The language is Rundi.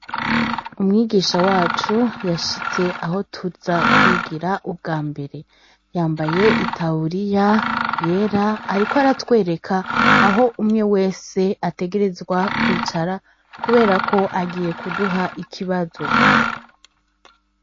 Umwigisha wacu yashitse aho tuza kwigira ubwambere. Yambaye itaburiya yera, ariko aratwereka aho umwe wese ategerezwa kwicara, kubera ko agiye kuduha ikibazo.